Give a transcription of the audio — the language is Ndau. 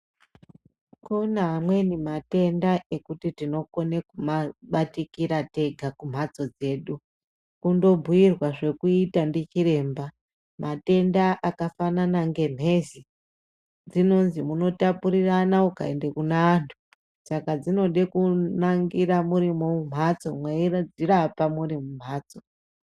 Kune amweni matenda ekuti tinokone kumabatikira tega kumbatso dzedu kundobhuirwa zvekuita ndichiremba matenda akafana ngembezi dzinonzwi munotapurirana mukaende kune antu saka dzinode kunangira muri mumbatso mweidzirapa muri mumbatso.